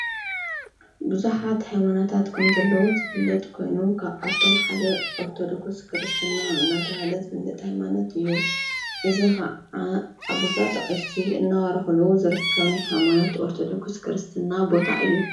ብዙኃት ሃይማኖታት ከምዘለዉ ዘፍለጥ ኮይኑ ካብኣቶም ሓደ ኦርተዶኩስ ክርስትና እናተሃለት ዝብልጥ ሃይማኖት እዩ። እዝ ኸዓ ኣቦታ ኣቅሽቲ እናባረኽሉ ዝርከብ ናይ ሃይሞኖት ኦርተዶኩስ ክርስትና ቦታ እዩ።